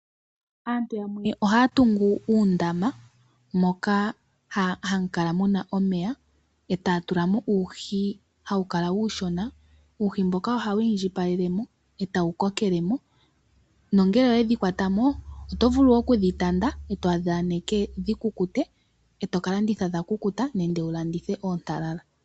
Aantu yamwe ohayatungu uudama moka hamukala muna omeya, etaya tulamo uuhi hawukala uushona, uuhi mboka ohawu indjipalelemo etawu kokelemo, nongele oyedhi kwatamo otovulu okudhitanda etodhi aneke dhikukute etoka landitha dha kukuta, nenge wulandithe oontalala.